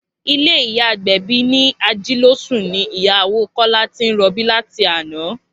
Ilé ìyá Agbẹ̀bí ní Ajílósùn ni ìyàwó Kọ́lá ti ń rọbí láti àná